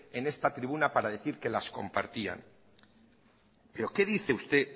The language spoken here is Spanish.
en esta tribuna para decir que las compartían pero qué dice usted